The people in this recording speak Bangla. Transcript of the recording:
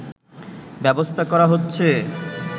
ব্যবস্থা করা হচ্ছে